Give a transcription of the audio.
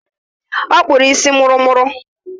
Ọ kpụọla isi mụrụmụrụ.